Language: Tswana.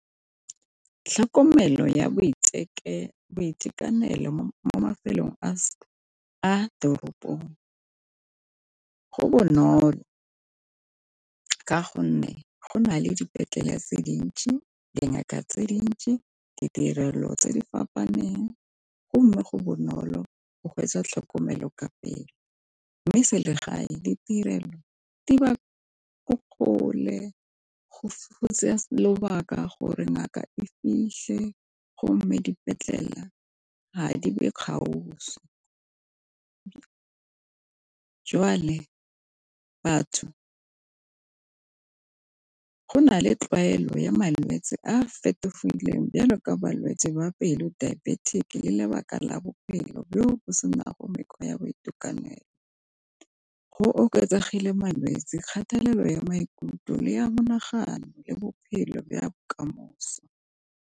Tlhokomelo ya boitekanelo mo mafelong a teropong go bonolo ka gonne go na le dipetlele ya tse dintsi, dingaka tse dintsi, ditirelo tse di fapaneng, go mme go bonolo go tlhokomelo ka pele. Mme selegae ditirelo di ba ko kgole go tsaya lobaka gore ngaka e fitlhe go mme dipetlele ga di be gaufi, jwale batho go nale tlwaelo ya malwetsi a fetogileng bolwetsi ba pelo dibetic le lebaka la bophelo bo sena mekgwa ya boitekanelo go oketsegile malwetsi kgatelelo ya maikutlo le ya monagano le bophelo bo ya bokamoso.